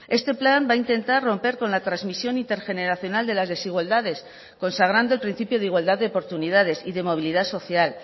este plan va a intentar romper con la transmisión intergeneracional de las desigualdades consagrando el principio de igualdad de oportunidades y de movilidad social